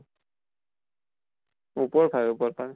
ওপৰ ফালে, ওপৰ ফালে